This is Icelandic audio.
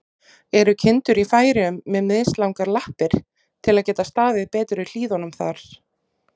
Eru kindur í Færeyjum með mislangar lappir, til að geta staðið betur í hlíðunum þar?